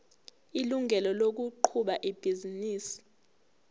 ilungelo lokuqhuba ibhizinisi